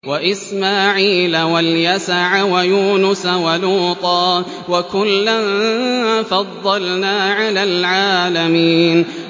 وَإِسْمَاعِيلَ وَالْيَسَعَ وَيُونُسَ وَلُوطًا ۚ وَكُلًّا فَضَّلْنَا عَلَى الْعَالَمِينَ